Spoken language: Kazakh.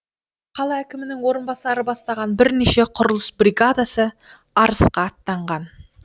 қала әкімінің орынбасары бастаған бірнеше құрылыс бригадасы арысқа аттанған